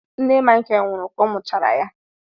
Nne Michael nwụrụ ka ọ mụchara ya.